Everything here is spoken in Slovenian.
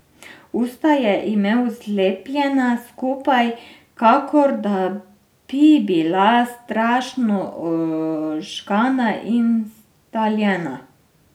Usta je imel zlepljena skupaj, kakor da bi bila strašno ožgana in staljena.